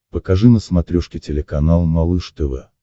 покажи на смотрешке телеканал малыш тв